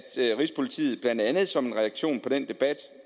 at rigspolitiet blandt andet som en reaktion på den debat